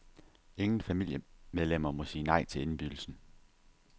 Ingen familiemedlemmer må sige nej til indbydelsen.